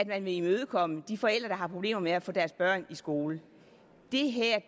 man vil imødekomme de forældre der har problemer med at få deres børn i skole